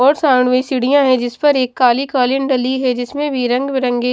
और साउंड में सीढ़ियाँ है जिस पर एक काली कालीन डली है जिसमें भी रंगबिरंगे --